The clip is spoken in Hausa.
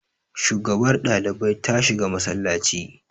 shugabar ɗalibi ta shiga masallaci